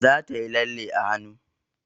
Za ta yi lalle a hanu